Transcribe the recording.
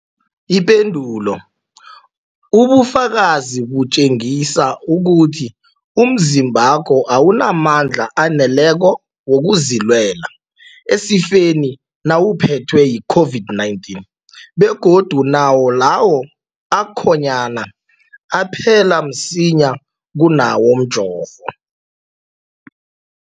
Ipendulo, ubufakazi butjengisa ukuthi umzimbakho awunamandla aneleko wokuzilwela esifeni nawuphethwe yi-COVID-19, begodu nawo lawo akhonyana aphela msinyana kunawomjovo.